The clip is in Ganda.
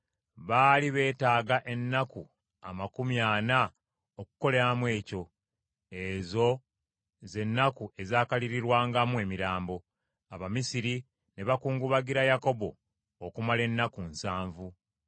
baali beetaaga ennaku amakumi ana okukoleramu ekyo. Ezo ze nnaku ezakaliririrwangamu emirambo. Abamisiri ne bakungubagira Yakobo okumala ennaku nsanvu.